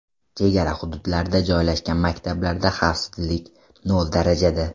Chegara hududlarda joylashgan maktablarda xavfsizlik nol darajada.